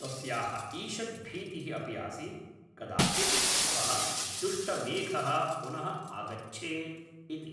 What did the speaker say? तस्याः ईषत् भीतिःअपि आसीत्, कदाचित् सः दुष्टमेघः पुनः आगच्छेत् इति।